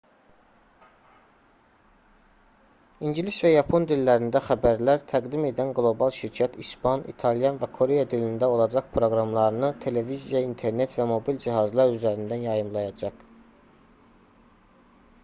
i̇ngilis və yapon dillərində xəbərlər təqdim edən qlobal şirkət i̇span i̇talyan və koreya dilində olacaq proqramlarını televiziya internet və mobil cihazlar üzərindən yayımlayacaq